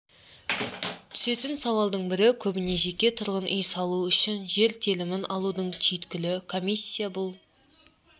түсетін сауалдың бірі көбіне жеке тұрғын үй салу үшін жер телімін алудың түйткілі комиссия бұл